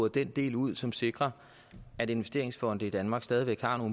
den del ud som sikrer at investeringsfonde i danmark stadig væk har